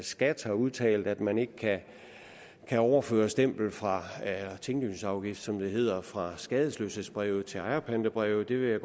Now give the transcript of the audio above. skat har udtalt at man ikke kan overføre stempel fra tinglysningsafgift som det hedder fra skadesløshedsbrevet til ejerpantebrevet det vil jeg